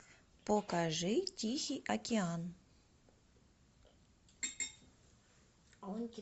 покажи тихий океан